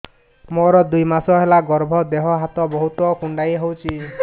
ମୋର ଦୁଇ ମାସ ହେଲା ଗର୍ଭ ଦେହ ହାତ ବହୁତ କୁଣ୍ଡାଇ ହଉଚି